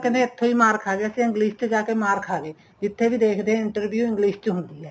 ਕਹਿੰਦੇ ਇੱਥੋ ਈ ਮਾਰ ਖਾ ਗਏ ਅਸੀਂ English ਚ ਜਾ ਕੇ ਮਾਰ ਖਾ ਗਏ ਜਿੱਥੇ ਵੀ ਦੇਖਦੇ interview English ਚ ਹੁੰਦੀ ਏ